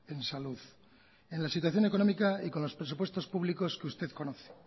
en salud en la situación económica y con los presupuestos públicos que usted conoce